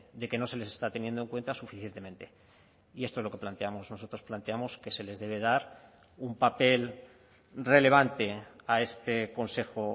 de que no se les está teniendo en cuenta suficientemente y esto es lo que planteamos nosotros planteamos que se les debe dar un papel relevante a este consejo